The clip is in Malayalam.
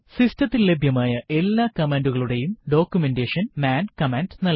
സിസ്റ്റത്തിൽ ലഭ്യമായ എല്ലാ കമാൻഡുകളുടെയും ഡോക്യുമെന്റേഷൻ മാൻ കമാൻഡ് നൽകും